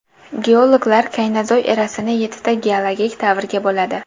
Geologlar kaynozoy erasini yettita geologik davrga bo‘ladi.